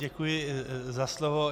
Děkuji za slovo.